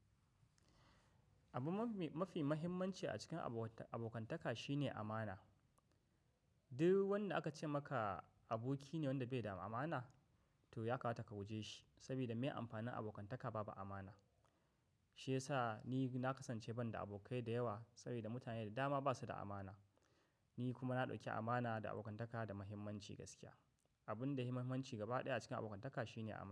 Abun mafi, mafi mahimmanci a cikin abokantaka shine amana. Duk wanda aka ce maka aboki ne wanda bai da amana to ya kamata ka guje shi, saboda mai amfanin abokantaka babu amana. Shi yasa ni na kasance ban da abokai da yawa saboda mutane da dama ba su da amana. Ni kuma na ɗauki amana da abokantaka da mahimmanci gaskiya. Abun da muhimanci gaba ɗaya a cikin abokantaka shine amana.